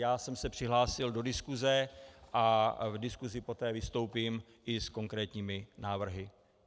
Já jsem se přihlásil do diskuze a v diskuzi poté vystoupím i s konkrétními návrhy.